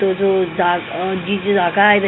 तो जो जा ती जी जागा आहे--